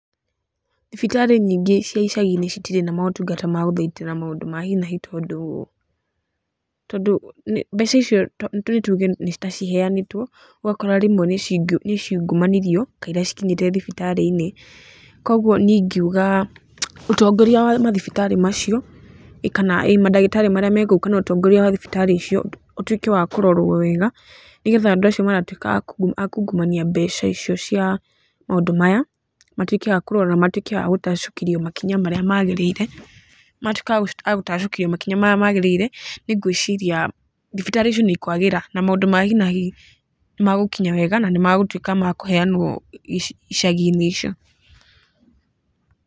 Thibitarĩ nyingĩ cia icagi-inĩ citirĩ na motungata ma gũthaitĩra maũndũ ma hi na hi, tondũ tondũ mbeca icio nĩ tuge nĩ ta ciheanĩtwo ũgakora rĩmwe nĩ ciungumanirio kaira cikinyĩte thibitarĩ-inĩ, koguo niĩ ingiuga ũtongoria wa mathibitarĩ macio kana mandagĩtarĩ marĩa me kou kana ũtongoria wa mathibitarĩ icio ũtuĩke wa kũrorwo wega, nĩgetha andũ acio magatuĩka a kungumania mbeca icio cia maũndũ maya, matuĩke a kũrora, matuĩke a gũtacũkĩrio makinya marĩa magĩrĩire, matuĩka a gũtacũkĩrio makinya marĩa magĩrĩirwo niĩ ngwĩciria thibitarĩ icio nĩ ikwagĩra na maũndũ ma hi na hi nĩmagũkinya wega na nĩmagũtuĩka ma kũheanwo icagi-inĩ icio.